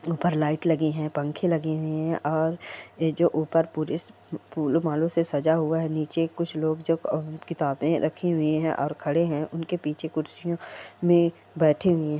उपर लाइट लगी है पंखे लगे हुए है और एह जो ऊपर पुरीस फूलों मालों से सजा हुआ नीचे कुछ लोग जो किताबें रखी हुई है और खड़े है उनके पीछे कुर्सियों मे बैठे हुए है।